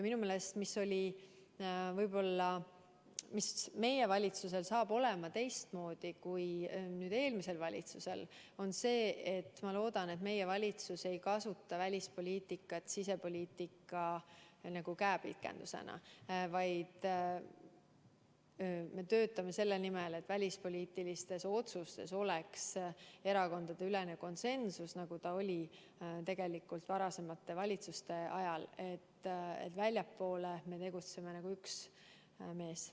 Minu meelest, mis võib-olla meie valitsusel saab olema teistmoodi kui eelmisel valitsusel, on see, et ma loodan, et meie valitsus ei kasuta välispoliitikat sisepoliitika käepikendusena, vaid me töötame selle nimel, et välispoliitilistes otsustes oleks erakondadeülene konsensus, nagu see oli tegelikult varasemate valitsuste ajal, et väljapoole me tegutseme nagu üks mees.